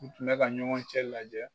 U tun bɛ ka ɲɔgɔn cɛ lajɛ